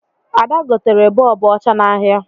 Ada gotere bọọbụ ọcha n'ahịa